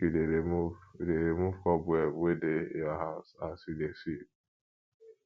make you dey remove dey remove cobweb wey dey your house as you dey sweep